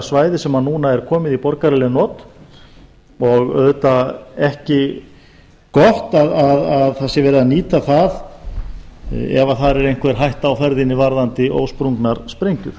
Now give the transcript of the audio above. svæði sem komið er í borgaraleg not meðal annars sem skólasvæði og slæmt að það sé nýtt ef einhver hætta stafar þar af ósprungnum sprengjum